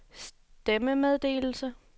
stemmemeddelelse